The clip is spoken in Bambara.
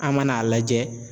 An mana lajɛ